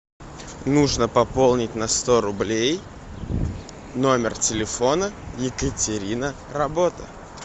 нужно пополнить на сто рублей номер телефона екатерина работа